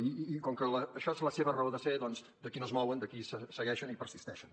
i com que això és la seva raó de ser doncs d’aquí no es mouen aquí segueixen i persisteixen